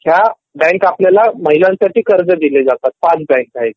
ह्या बँक आपल्याला महिलांसाठी कर्ज दिले जातात ह्या ५ बँक आहे .